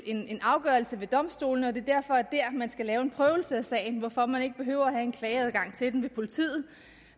en afgørelse ved domstolene og at det derfor er der man skal lave en prøvelse af sagen hvorfor man ikke behøver at have en klageadgang til den ved politiet